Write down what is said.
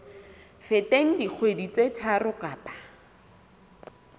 feteng dikgwedi tse tharo kapa